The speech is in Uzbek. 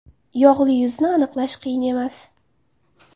Yog‘li yuzni aniqlash qiyin emas.